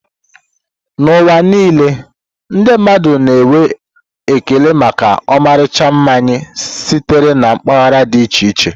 N'ụwa niile, ndị mmadụ na-enwe ekele maka ọmarịcha mmanya sitere na mpaghara dị iche iche.